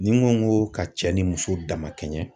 Ni ko n ko ka cɛ ni muso damakɛɲɛ